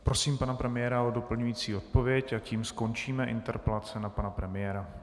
Prosím pana premiéra o doplňující odpověď a tím skončíme interpelace na pana premiéra.